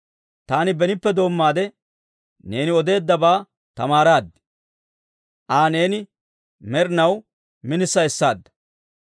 Taani benippe doommaade, neeni odeeddabaa tamaaraad; Aa neeni med'inaw minisa essaadda.